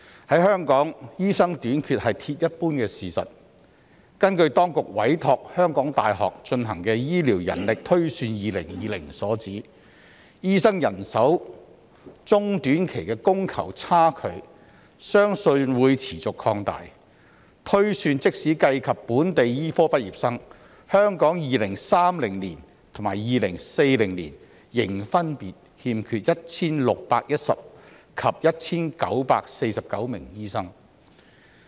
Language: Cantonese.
在香港，醫生短缺是鐵一般的事實，根據當局委託香港大學進行的《醫療人力推算2020》所指，醫生人手中短期的供求差距相信會持續擴大，推算即使計及本地醫科畢業生，香港在2030年及2040年，仍分別欠缺 1,610 名及 1,949 名醫生。